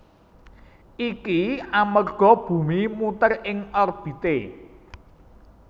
Iki amerga bumi muter ing orbité